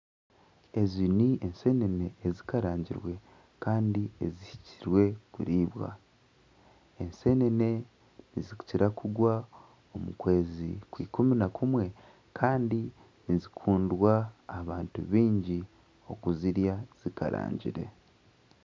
Ezi n'enseene ezikikarangirwe kandi ezihikire kuriibwa. Enseenene nizikira kugwa omu kwezi kwa ikumi na kumwe kandi nizikundwa abantu baingi kuzirya zikarangirwe.